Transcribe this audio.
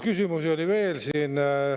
Küsimusi oli siin veel.